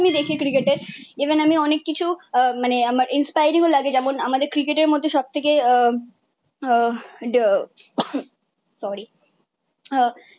আমি দেখি ক্রিকেটের। ইভেন আমি অনেক কিছু মানে আমার ইন্সপায়ারিংও লাগে যেমন আমাদের ক্রিকেটের মধ্যে সবথেকে আহ আহ সরি আহ